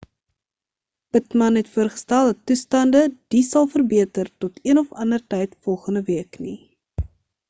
pittman het voorgestel dat toestande die sal verbeter tot een of ander tyd volgende week nie